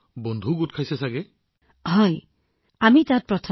প্ৰধানমন্ত্ৰীঃ তেন্তে এতিয়া আপুনি নিশ্চয় তামিলনাডুতো বহুত বন্ধু লাভ কৰিছে